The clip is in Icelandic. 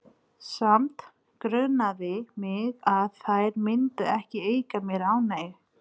Samt grunaði mig að þær myndu ekki auka mér ánægju.